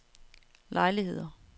lejligheder